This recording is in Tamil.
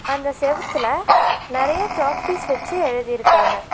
அந்த செவுத்துல நெறைய சாக்பீஸ் வச்சு எழுதிருக்காங்க.